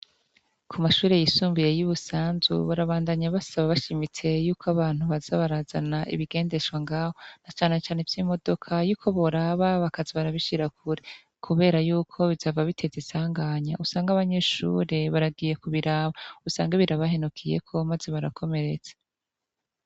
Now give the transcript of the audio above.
Ku mashuri yisumbuye yi Busanzu barabandanya basaba bashimitse yuko abantu baza barazana ibigendeshwa ngaha na canecane vy'imodoka yuko boraba bakaja barasiga kure kuberayuko bizohava bitera isanganya usnge abanyeshuri baragiye kubiraba usange birabahenukiyeko maze barakomeretse.